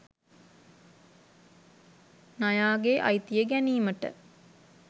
නයාගේ අයිතිය ගැනීමට